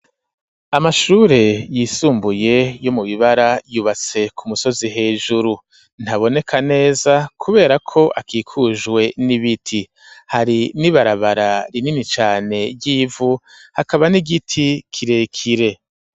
Amashure yisumbuye yo mu Bibara, yubatse ku musozi hejuru, ntaboneka neza kubera ko akikujwe n'ibiti; hari n'ibarabara rinini cane ry'ivu, hakaba n'igiti kirekire.